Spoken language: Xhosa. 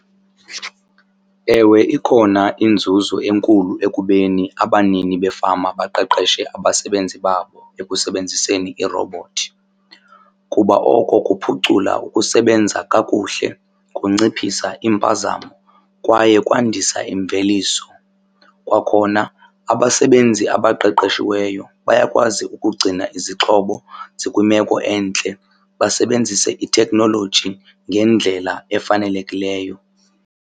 Ewe, ikhona inzuzo enkulu ekubeni abanini befama baqeqeshe abasebenzi babo ekusebenziseni iirobhothi kuba oko kuphucula ukusebenza kakuhle, kunciphisa iimpazamo kwaye kwandisa imveliso. Kwakhona abasebenzi abaqeqeshiweyo bayakwazi ukugcina izixhobo zikwimeko entle basebenzise ithekhnoloji ngendlela efanelekileyo.